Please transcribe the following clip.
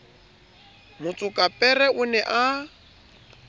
motsokapere o ne a na